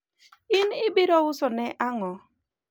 in ibiro uso ne ang'o?